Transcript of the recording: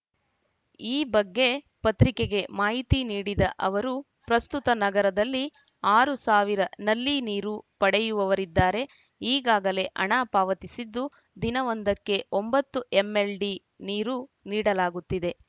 ಈ ಬಗ್ಗೆ ಪತ್ರಿಕೆಗೆ ಮಾಹಿತಿ ನೀಡಿದ ಅವರು ಪ್ರಸ್ತುತ ನಗರದಲ್ಲಿ ಆರು ಸಾವಿರ ನಲ್ಲಿ ನೀರು ಪಡೆಯುವವರಿದ್ದಾರೆ ಈಗಾಗಲೇ ಹಣ ಪಾವತಿಸಿದ್ದು ದಿನವೊಂದಕ್ಕೆ ಒಂಬತ್ತು ಎಂಎಲ್‌ಡಿ ನೀರು ನೀಡಲಾಗುತ್ತಿದೆ